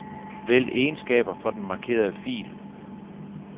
Vælg egenskaber for den markerede fil.